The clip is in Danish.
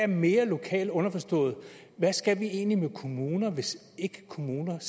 mere lokalt underforstået hvad skal vi egentlig med kommunerne hvis kommunerne